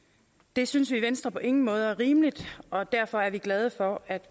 det synes vi i venstre på ingen måde er rimeligt og derfor er vi glade for at